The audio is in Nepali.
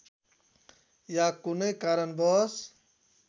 या कुनै कारणवश